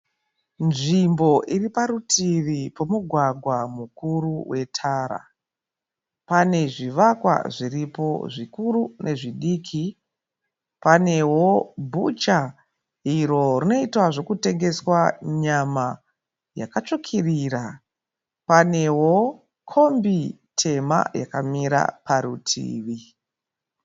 Nzvimbo iriparutivi pomugwgwa mukuru wetara. Panezvivakwa zviripo zvikuru nezvidiki. Panewo bhucha iro rinoitwa zvekutengeswa nyama yakatsvukirira. Panewo kombi tema yakamira parutivi.